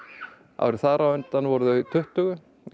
árið þar á undan voru þau tuttugu